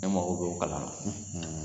E mako b'o kalan na